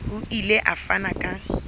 o ile a fana ka